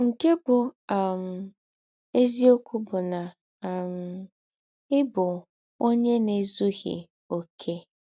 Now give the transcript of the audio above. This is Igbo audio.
Nke bụ́ um eziọkwụ bụ na um ị bụ ọnye na - ezụghị ọkè.